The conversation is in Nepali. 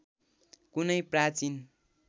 कुनै प्राचीन